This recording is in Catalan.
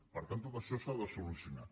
per tant tot això s’ha de solucionar